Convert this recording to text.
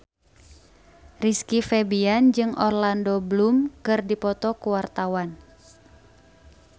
Rizky Febian jeung Orlando Bloom keur dipoto ku wartawan